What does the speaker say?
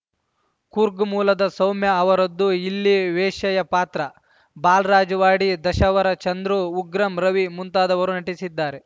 ಕೂರ್ಗ್‌ ಮೂಲದ ಸೌಮ್ಯ ಅವರದ್ದು ಇಲ್ಲಿ ವೇಶ್ಯೆಯ ಪಾತ್ರ ಬಾಲ್‌ರಾಜ್‌ವಾಡಿ ದಶಾವರ ಚಂದ್ರು ಉಗ್ರಂ ರವಿ ಮುಂತಾದವರು ನಟಿಸಿದ್ದಾರೆ